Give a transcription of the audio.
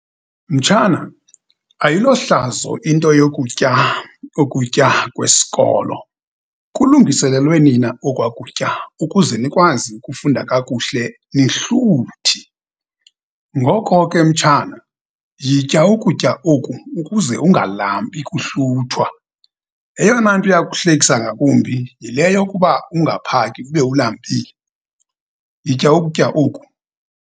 Mtshana, ayilohlazo into yokutya ukutya kwesikolo. Kulungiselelwe nina okwa kutya ukuze nikwazi ukufunda kakuhle nihluthi. Ngoko ke, mtshana, yitya ukutya oku ukuze ungalambi kuhluthwa. Eyona nto iyakuhlekisa ngakumbi yile yokuba ungaphaki ube ulambile. Yitya ukutya oku.